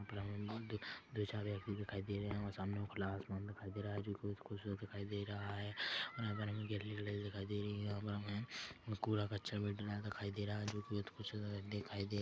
दो - चार व्यक्ति दिखाई दे रहे है और सामने ओ खुला आसमान दिखाई दे रहा है जोकि बहुत खुबसूरत दिखाई दे रहा है और यहाँ पर हमें गैलरी दिखाई दे रही है यहाँ हमें कूड़ा - कच्चर भी डला दिखाई दे रहा है जोकि बहुत कुछ दिखाई दे --